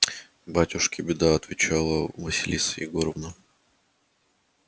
батюшки беда отвечала василиса егоровна